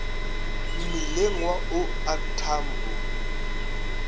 mmileng wa o r tambo